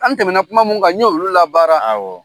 An tɛmɛna kuma mu kan n ɲɛ' olu la baara a wa